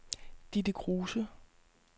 Ditte Kruse